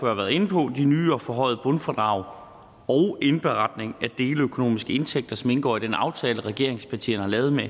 har været inde på de nye og forhøjede bundfradrag og indberetning af deleøkonomiske indtægter som indgår i den aftale regeringspartierne har lavet med